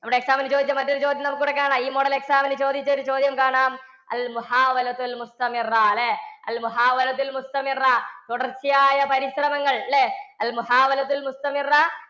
നമ്മുടെ exam ന് ചോദിച്ച മറ്റൊരു ചോദ്യം നമുക്ക് ഇവിടെ കാണാം. ഈ model exam ന് ചോദിച്ച ഒരു ചോദ്യം കാണാം. അല്ലേ? തുടർച്ചയായ പരിശ്രമങ്ങൾ അല്ലേ